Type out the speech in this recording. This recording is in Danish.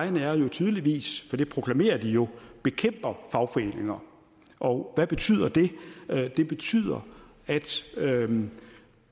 jo tydeligvis for det proklamerer de jo bekæmper fagforeninger og hvad betyder det det betyder at